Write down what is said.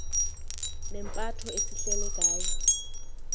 nempatho esihleli ngayo